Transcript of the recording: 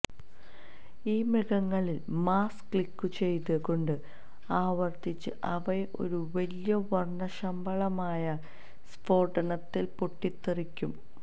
ഈ മൃഗങ്ങളിൽ മൌസ് ക്ലിക്കുചെയ്തുകൊണ്ട് ആവർത്തിച്ച് അവയെ ഒരു വലിയ വർണശബളമായ സ്ഫോടനത്തിൽ പൊട്ടിത്തെറിക്കും